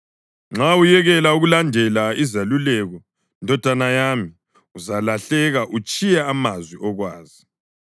Nxa uyekela ukulandela izeluleko, ndodana yami, uzalahleka utshiye amazwi okwazi.